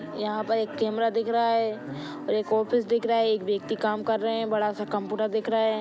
यहां पे एक कैमरा दिख रहा हैं और एक ऑफिस दिख रहा हैं बड़ा-सा कंप्यूटर दिख रहा है ।